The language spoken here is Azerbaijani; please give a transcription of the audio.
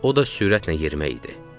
O da sürətlə yerimək idi.